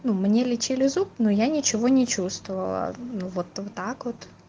ну мне лечили зуб но я ничего не чувствовала ну вот вот так вот